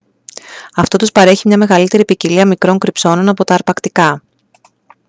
αυτό τους παρέχει μια μεγαλύτερη ποικιλία μικρών κρυψώνων από τα αρπακτικά